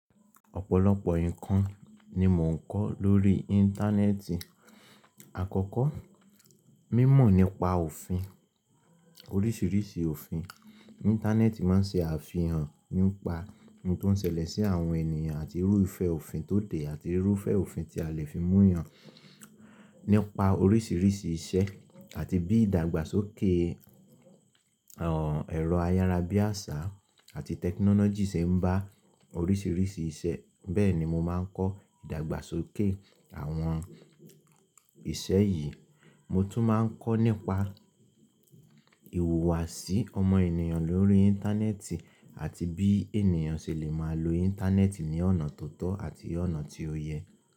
Ọ̀pọ̀lọpọ̀ nǹkan ni mò ń kọ́ lórí Íńtánẹ́ẹ̀tì. Àkọ́kọ́, mi mọ̀ nípa òfin, oríṣìíríṣìí òfin. Íńtánẹ́ẹ̀tì máa ń ṣe àfihàn nípa ohun tó ń ṣẹlẹ̀ sí àwọn ènìyàn àti irú ìfẹ́ òfin tó dé àti irú ìfẹ́ òfin tí a lè fi mú yàn nípa oríṣìíríṣìí iṣẹ́ àti bí ìdàgbàsókè ẹ̀rọ ayára bí àṣá àti tẹkinọ́lọ́jì ṣe ń bá oríṣìíríṣìí iṣẹ́. Bẹ́ẹ̀ ni mo máa ń kọ́ ìdàgbàsókè àwọn iṣẹ́ yìí. Mo tún máa ń kọ́ nípa ìhùwàsí ọmọ ènìyàn lórí Íńtánẹ́ẹ̀tì àti bí ènìyàn ṣe lè máa lo Íńtánẹ́ẹ̀tì ní ọ̀nà tó tọ́ àti ọ̀nà tí ó yẹ.